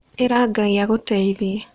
Ĩra Ngai agũteithie.